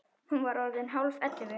Hún var orðin hálf ellefu.